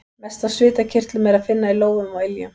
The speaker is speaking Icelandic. Mest af svitakirtlum er að finna í lófum og iljum.